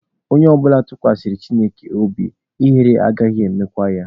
Onye ọbụla tụkwasara Chineke obi, ihere anaghị emekwa ya.